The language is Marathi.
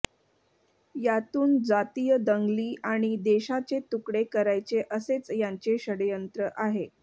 यातून जातीय दंगली आणि देशाचे तुकडे करायचे असेच यांचे षङ्यंत्र आहे